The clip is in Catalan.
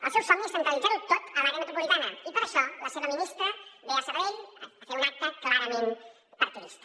el seu somni és centralitzar ho tot a l’àrea metropolitana i per això la seva ministra ve a sabadell a fer un acte clarament partidista